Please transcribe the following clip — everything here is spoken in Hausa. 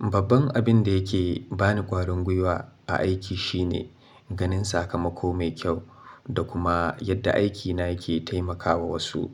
Babban abin da yake ba ni ƙwarin gwiwa a aiki shine ganin sakamako mai kyau da kuma yadda aikina yake taimakawa wasu.